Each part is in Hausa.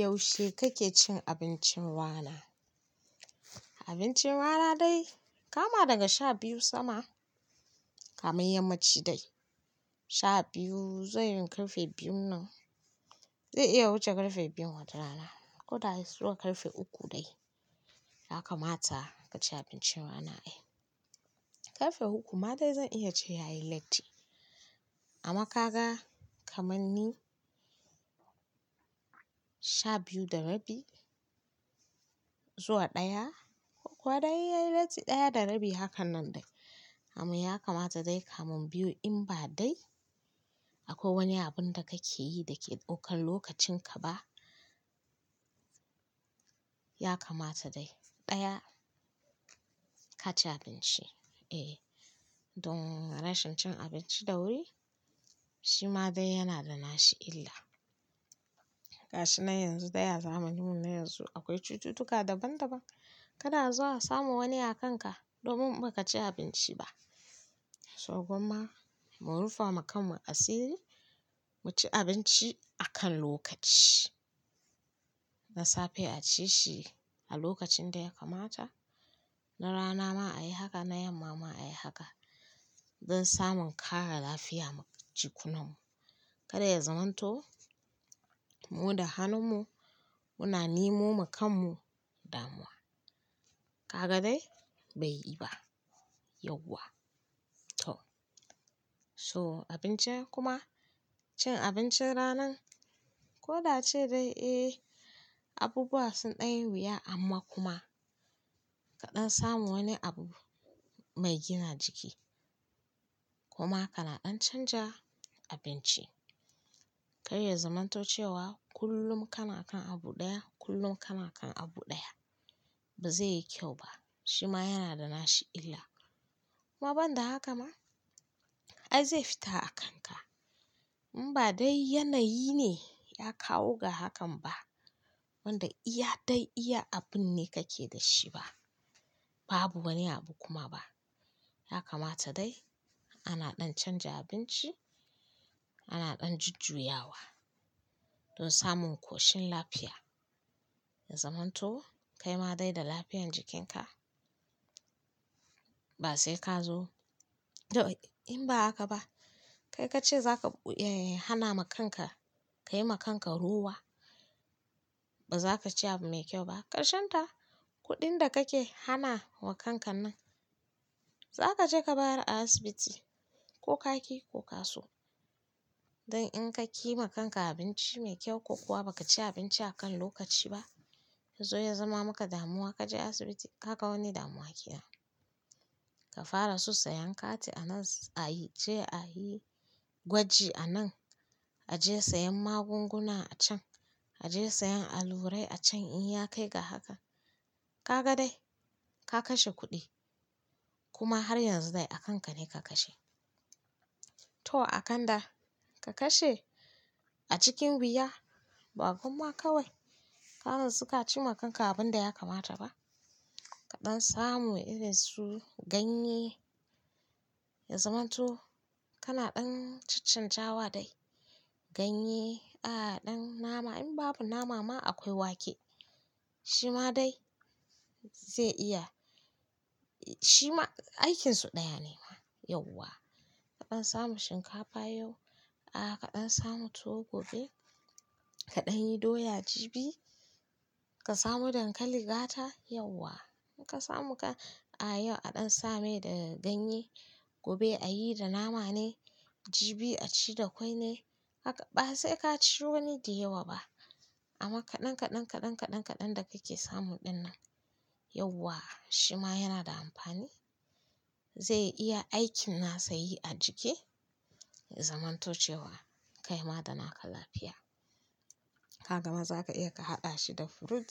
Yaushe kake cin abincin rana? Abincin rana dai kama daga sha biyu sama, kamar yammaci dai. Sha biyu zai yi ƙarfe biyun nan. Zai iya wuce ƙarfe biyun wata rana. Ko dai zuwa ƙarfe uku dai, ya kamata ka ci abincin rana. Eh, ƙarfe uku ma dai zan iya ce ya yi latti. Amma ka ga kamar ni, sha biyu da rabi zuwa ɗaya ko kuwa dai ya yi latti ɗaya da rabi hakan nan dai. Amma ya kamata dai kamar biyu in ba dai akwai wani abun da kake yi da ke ɗaukan lokacin ka ba, ya kamata dai ɗaya ka ci abinci. Eh, don rashin cin abinci da wuri shi ma dai yana da nashi illa. Gashi nan yanzu da ya zamaninmu na yanzu akwai cututtuka daban-daban. Kada azo a samo wani a kanka domin ba ka ci abinci ba. So gwamma mu rufa ma kanmu asiri, mu ci abinci akan lokaci. Na safe a ci shi a lokacin da ya kamata, na rana ma a yi haka, na yamma ma a yi haka. Don samun ƙara lafiya ma jikunanmu. Kada ya zamanto mu da hanunmu muna nemo wa kanmu damuwa. Ka ga dai bai yi ba yauwa. To so abinci kuma cin abincin rana ko da ace dai eh abubuwa sun ɗan yi wuya amma kuma kaɗan samu wani abu mai gina jiki. Kuma kana ɗan canja abinci. Kada ya zamanto cewa kullum kana kan abu ɗaya, kullum kana kan abu ɗaya. Ba zai yi kyau ba. Shi ma yana da nashi illa. Kuma ban da haka ma ai zai fita a kanka. In ba dai yanayi ne ya kawo ga hakan ba wanda iya dai iya abun ne kake da shi ba. Babu wani abu kuma ba. Ya kamata dai ana ɗan canja abinci, ana ɗan jujjuyawa don samun ƙoshin lafiya. Ya zamanto kai ma dai da lafiyar jikinka ba sai ka zo. To in ba haka ba kai ka ce za ka, eh, hana ma kanka, ka yi ma kanka rawa. Ba za ka ci abu mai kyau ba. Karshen ta kuɗin da kake hana wa kanka nan za ka je ka bari a asibiti ko kaki ko kaso. Don in ka yi ma kanka abinci mai kyau ko kuwa ba ka ci abinci akan lokaci ba yanzu ya zama maka damuwa ka je asibiti ka ga wani damuwa kenan. Ka fara su sayan kati a nan a yi, je a yi gwaji a nan. A je sayan magunguna a can. A je sayan allurai a can in ya kai ga haka. Ka ga dai ka kashe kuɗi. Kuma har yanzu dai a kanka ne ka kashe. To a kanda ka kashe a cikin wuya ba gwamma kawai ka natsu ka ci ma kanka abun da ya kamata ba. Kaɗan samu irin su ganye. Ya zamanto kana ɗan caccanjawa dai ganye, a'a ɗan nama in babu nama ma akwai wake. Shi ma dai zai iya, shi ma aikinsu ɗaya ne ma yauwa. Kaɗan samu shinkafa yau, a'a kaɗan samu tuwo gobe, kaɗan yi doya jibi, ka samu dankali gata yauwa. Ka samu ka, a'a yau a ɗan same da ganye, gobe a yi da nama ne, jibi a ci da kwai ne. Haka ba sai ka ci wani da yawa ba. Amma kaɗan kaɗan kaɗan kaɗan kaɗan da kake samu ɗin nan yauwa shi ma yana da amfani. Zai iya aikin nasa yi a jiki. Ya zamanto cewa kai ma da naka lafiya. Ka gama za ka iya ka haɗa shi da fruit.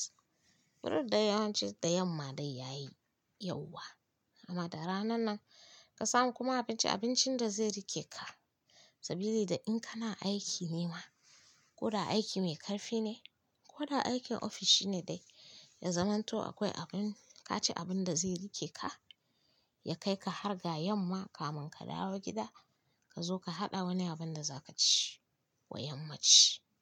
Fruit da yawanci da yamma dai ya yi yauwa. Amma da ranan nan ka samu kuma abinci, abincin da zai riƙe ka. Sabili da in kana aiki ne ma ko da aiki mai ƙarfi ne ko da aikin ofis shi ne dai ya zamanto akwai abun, ka ci abun da zai riƙe ka. Ya kai ka har ga yamma kamun ka dawo gida ka zo ka haɗa wani abun da za ka ci wa yammaci.